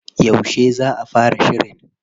Yauce za a fara shirin?